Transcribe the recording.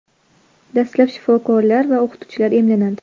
Dastlab shifokorlar va o‘qituvchilar emlanadi.